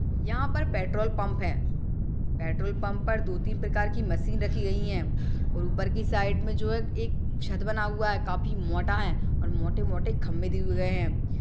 यहाँ पर petrol pump है । पेट्रोल पंप पर दो तीन प्रकार की मशीन रखी गई है और ऊपर के साइड में जो है एक छत बना हुआ है काफी मोटा है और मोटे मोटे खंबे दिये गए हैं ।